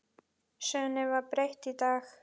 Sögunni var breytt í dag.